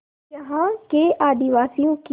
यहाँ के आदिवासियों की